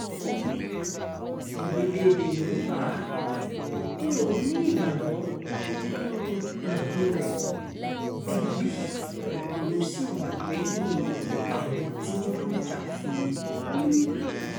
orílẹ̀‐èdè yorùbá ni òun nígbàgbọ́ nínú um rẹ̀ digbí lòún sì wà lẹ́yìn àwọn tí wọ́n ń jà fún un um